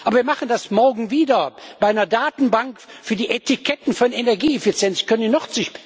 Aber wir machen das morgen bei einer Datenbank für die Etiketten von Energieeffizienz wieder.